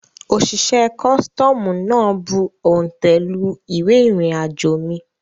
Òṣìṣẹ́ costoomu náà bù òntẹ̀ lu ìwé irinajo mi